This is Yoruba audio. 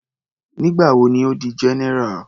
Nígbà wo ni Ó di general.